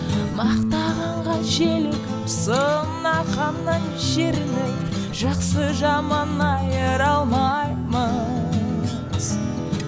мақтағанға желігіп сынағаннан жерініп жақсы жаман айыра алмаймыз